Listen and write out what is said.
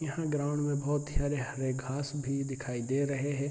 यहाँ ग्राउंड में बोहोत सारे हरे घास भी दिखाई दे रहे हैं।